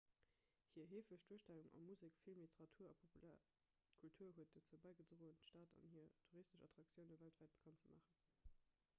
hir heefeg duerstellung a musek film literatur a populär kultur huet dozou bäigedroen d'stad an hir touristesch attraktioune weltwäit bekannt ze maachen